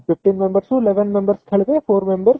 fifteen members ରୁ eleven members ଖେଳିବେ four members